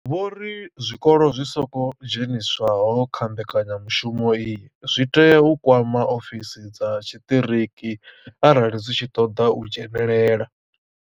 Vho ri zwikolo zwi songo dzheniswaho kha mbekanyamushumo iyi zwi tea u kwama ofisi dza tshiṱiriki arali zwi tshi khou ṱoḓa u dzhenelela.